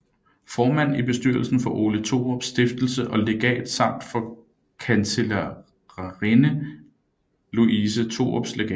Formand i bestyrelsen for Ole Thorups Stiftelse og Legat samt for Kancelliraadinde Louise Thorups Legat